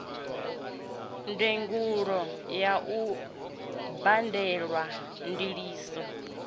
ndugelo ya u badelwa ndiliso